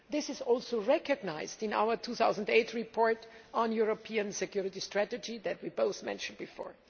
This is also recognised in our 2008 report on European security strategy that we both mentioned before.